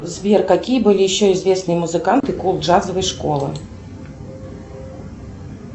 сбер какие были еще известные музыканты кул джазовой школы